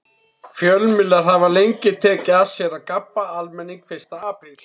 Fjölmiðlar hafa lengi tekið að sér að gabba almenning fyrsta apríl.